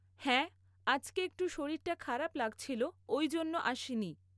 হ্যাঁ আজকে একটু শরীরটা খারাপ লাগছিলো ঐ জন্য আসিনি